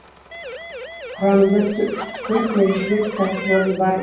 құрамында төрт еншілес кәсіпорын бар